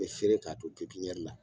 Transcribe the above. bɛ feere k'a to la